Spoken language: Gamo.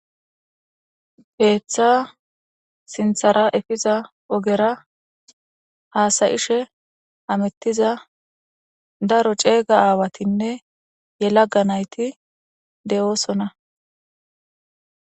Keeththa sinththazara efiza ogera daro haasa'ishe haetizama ceega aawatinne yelaga naytura de'osona.